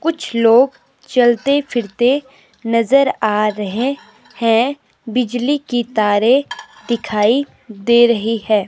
कुछ लोग चलते फिरते नजर आ रहे हैं बिजली की तारे दिखाई दे रही है।